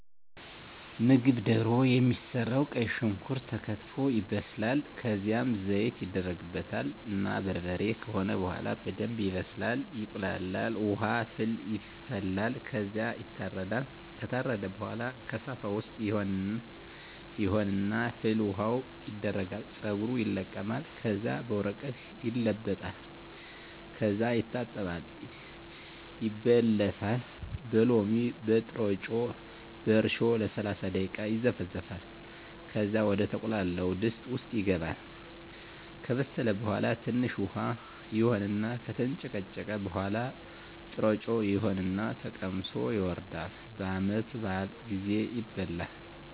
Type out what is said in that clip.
ምግብ ደሮ የሚሰራዉ ቀይ ሽንኩርት ተከትፎ ይበስላል ከዝያም ዘይት ይደረግበታል እና በርበሬ ከሆነ በሆላ በደንብ ይበስላል ይቁላላል። ዉሀ ፍል ይፈላል ከዝያ ይታረዳል። ከታረደ በሆላ ከሳፋ ዉስጥ ይሆን እና ፍል ዉሀዉ ይደረጋል ፀጉሩ ይለቀማል ከዚያ በወረቀት ይለበለጣል ከዚያ ይታጠባል ይበለታል በሎሚ፣ በጥሮጮ፣ በእርሾ ለሰላሳ ደቂቃ ይዘፈዘፋል ከዚያ ወደ ተቁላላዉ ድስት ዉስጥ ይገባል። ከበሰለ በሆላ ትንሽ ዉሀ ይሆን እና ከተንጨቀጨቀ በሆላ ጥሮጮ ይሆን እና ተቀምሶ ይወርዳል። በዓመት በአል ጊዜ ይበላል።